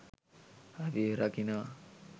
අපිව රකිනවා.